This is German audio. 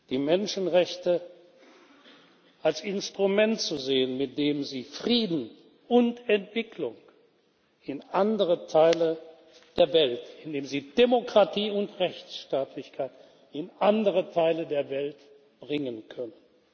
die Menschenrechte als Instrument zu sehen, mit dem Sie Frieden und Entwicklung in andere Teile der Welt, mit dem Sie Demokratie und Rechtsstaatlichkeit in andere Teile der Welt bringen können.